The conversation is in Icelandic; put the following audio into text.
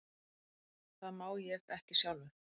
Það má ég ekki sjálfur.